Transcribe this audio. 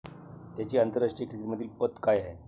त्याची आंतरराष्ट्रीय क्रिकेटमधील पत काय?